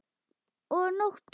Og nóttum!